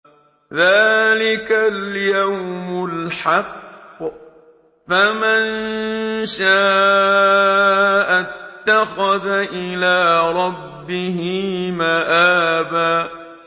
ذَٰلِكَ الْيَوْمُ الْحَقُّ ۖ فَمَن شَاءَ اتَّخَذَ إِلَىٰ رَبِّهِ مَآبًا